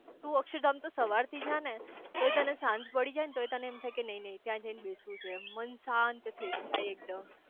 તું અક્ષરધામ તો સવાર થી જા ને તોય તને સાંજ પડી જાય ને તોય તને એમ થાય કે નઈ નઈ ત્યાં જય ને બેસવું છે એમ મન શાંત થઇ જાય એકદમ